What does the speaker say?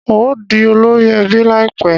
N óò di olórí ẹbí láìpẹ́